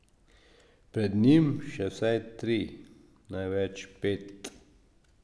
Pred njim še vsaj tri, največ pet.